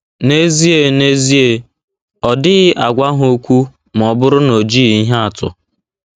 N’ezie N’ezie, ọ dịghị agwa ha okwu ma ọ bụrụ na o jighị ihe atụ. ’